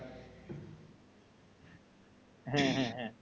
হ্যা হ্যা